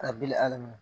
Ka bili ali n'o